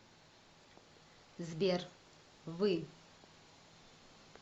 сбер вы